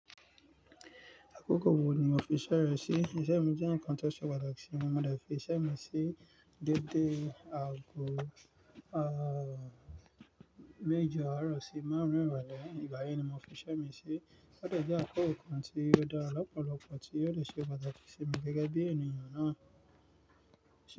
Àkókò wo ni o fi iṣẹ́ rẹ sí? Iṣẹ́ mi jẹ́ ǹkan tó ṣe pàtàkì sí mi. Mo mọ̀ de fi iṣẹ́ mi sí dédé aago, ah, méje aarọ̀ sí márùn-ún ìrọ̀lẹ́. Ìgbà yẹn ni mo fi iṣẹ́ mi sí. Ó de je akókò kan tí ó dára lọ́pọ̀lọpọ̀ tí ó lè ṣe pàtàkì sí mi gẹ́gẹ́ bí ènìyàn náà.